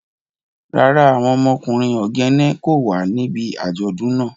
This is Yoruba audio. Rara, awọn ọmọkunrin Ogene ko wa nibi ajọdun naa.